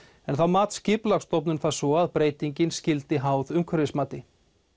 en þá mat Skipulagsstofnun það svo að breytingin skyldi háð umhverfismati